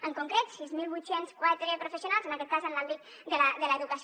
en concret sis mil vuit cents i quatre professionals en aquest cas en l’àmbit de l’educació